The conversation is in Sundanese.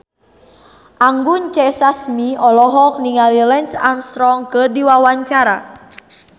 Anggun C. Sasmi olohok ningali Lance Armstrong keur diwawancara